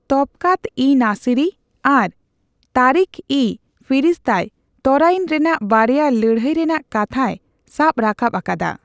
ᱛᱚᱵᱠᱟᱛᱼᱤᱼᱱᱟᱥᱤᱨᱤ ᱟᱨ ᱛᱟᱨᱤᱠᱷᱼᱤᱼᱯᱷᱤᱨᱤᱥᱛᱟᱭ ᱛᱚᱨᱟᱭᱤᱱ ᱨᱮᱱᱟᱜ ᱵᱟᱨᱭᱟ ᱞᱟᱹᱲᱦᱟᱹᱭ ᱨᱮᱱᱟᱜ ᱠᱟᱛᱷᱟᱭ ᱥᱟᱵ ᱨᱟᱠᱟᱵ ᱟᱠᱟᱫᱟ ᱾